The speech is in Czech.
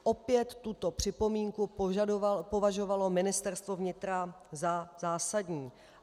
Opět tuto připomínku považovalo Ministerstvo vnitra za zásadní.